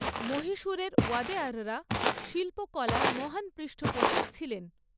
মহীশূরের ওয়াদেয়াররা শিল্পকলার মহান পৃষ্ঠপোষক ছিলেন।